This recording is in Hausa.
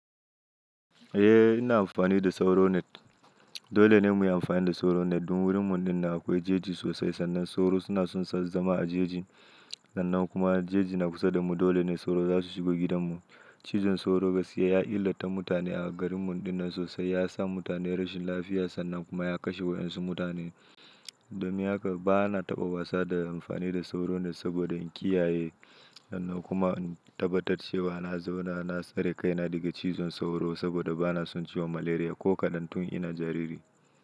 Eh ina amfani da sauro net. Dole ne muyi amfani da sauro net don wurin mu dinnan akwai jeji sosai sannan sauro suna son zama a jeji. Sannan kuma jeji na kusa da mu dole ne sauro zasu shigo gidan mu. Cizon sauro gaskiya ya illata mutane a garin mu dinnan sosai. Ya sa mutane rashin lafiya sannan kuma ya kashe waɗansu mutane. Domin haka bana taɓa wasa da amfani da sauro net saboda in kiyaye. Sannan kuma in tabbatar cewa na zauna na tsare kaina daga cizon sauro saboda bana son ciwon malaria ko kaɗan tun ina jariri.